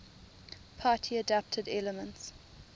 party adapted elements